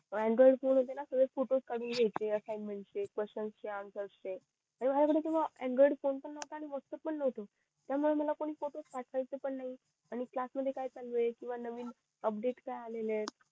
सगळे फोटोस कडून घ्याचे चे assignment चे question चे answer चे फोन पण नव्हता आणि व्हॅटप्प्स पण नव्हतं त्या मुळे मला कोण फोटो पाठवायचं पण नई आणि क्लास मध्ये काय चालू ये किव्हा नवीन अपडेट काय आलेत